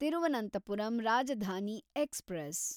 Thiruvananthapuram Rajdhani express